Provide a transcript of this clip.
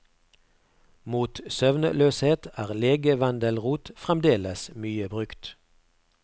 Mot søvnløshet er legevendelrot fremdeles mye brukt.